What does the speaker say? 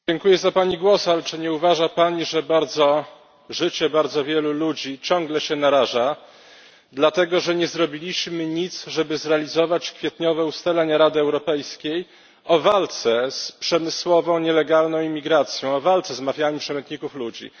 Dziękuję za Pani głos, ale czy nie uważa Pani, że życie bardzo wielu ludzi ciągle jest narażane, dlatego że nie zrobiliśmy nic, żeby zrealizować kwietniowe ustalenia Rady Europejskiej o walce z przemysłową nielegalną imigracją, o walce z mafiami przemytników ludzi.